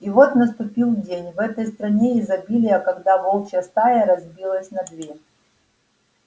и вот наступил день в этой стране изобилия когда волчья стая разбилась на две